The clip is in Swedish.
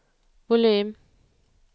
volym